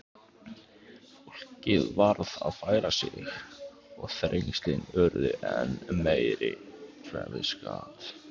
Fólkið varð að færa sig og þrengslin urðu enn meiri.